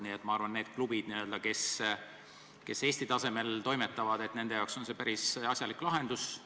Nii et ma arvan, et nendele klubidele, kes Eesti tasemel toimetavad, on see päris asjalik lahendus.